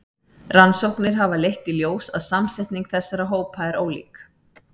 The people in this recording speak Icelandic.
Rannsóknir hafa leitt í ljós að samsetning þessara hópa er ólík.